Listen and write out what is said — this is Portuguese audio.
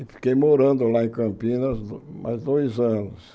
E fiquei morando lá em Campinas mais dois anos.